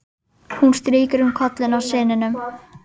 Hún strýkur um kollinn á syninum.